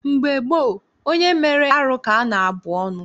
Mgbe gboo, onye mere arụ ka a na-abụ ọnụ.